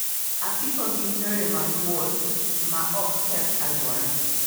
apiko gin yore mag wuoth ma ok ketho alwora.